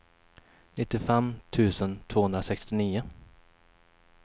nittiofem tusen tvåhundrasextionio